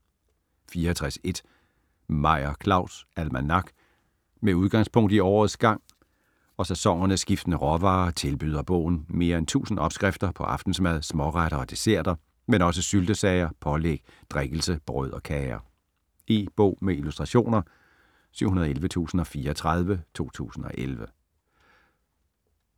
64.1 Meyer, Claus: Almanak Med udgangspunkt i årets gang og sæsonernes skiftende råvarer tilbyder bogen mere end 1000 opskrifter på aftensmad, småretter og desserter, men også syltesager, pålæg, drikkelse, brød og kager. E-bog med illustrationer 711034 2011.